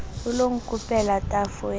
o lo nkopela tafo ke